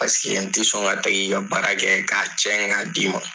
Paseke n tɛ sɔn ka tigi i ka baara kɛ k'a cɛn k'a d'i ma.